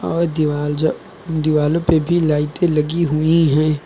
और दीवाल ज दीवालो पे भी लाइटे लगी हुई हैं।